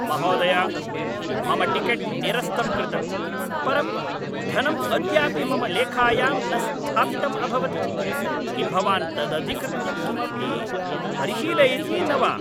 महोदय! मम टिकेट् निरस्तं कृतम्, परं धनं अद्यापि मम लेखायां न स्थापितम् अभवत्। किं भवान् तदधिकृत्य किमपि परिशीलयति न वा?